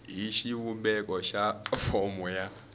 hi xivumbeko xa fomo ya